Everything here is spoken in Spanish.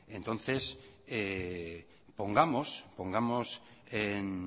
entonces pongamos en